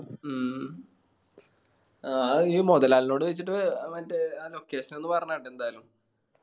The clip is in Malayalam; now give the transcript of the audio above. മ് ആ ഈ മൊതലാളിനോട് ചോയിച്ചിട്ട് മറ്റേ ആ location ഒന്ന് പറഞ്ഞാട്ടാ എന്തായാലും